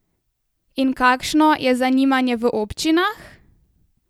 In kakšno je zanimanje v občinah?